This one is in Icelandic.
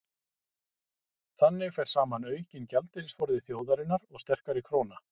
þannig fer saman aukinn gjaldeyrisforði þjóðarinnar og sterkari króna